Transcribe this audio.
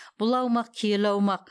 бұл аумақ киелі аумақ